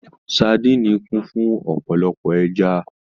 Sadíìnì kún fún ọ̀pọ̀lọpọ̀ ẹja